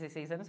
Dezesseis anos.